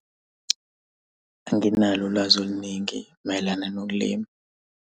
Anginalo ulwazi oluningi mayelana nokulima.